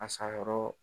A sayɔrɔ